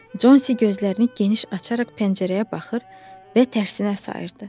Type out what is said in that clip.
Consi gözlərini geniş açaraq pəncərəyə baxır və tərsinə sayırdı.